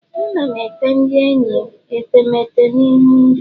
Ana m ete ndị enyi metemeete na ihu ndị